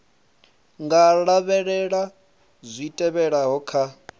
nga lavhelela zwi tevhelaho kha